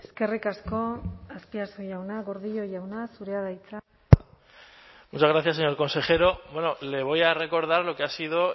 eskerrik asko azpiazu jauna gordillo jauna zurea da hitza muchas gracias señor consejero le voy a recordar lo que ha sido